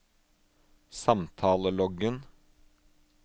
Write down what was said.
samtaleloggen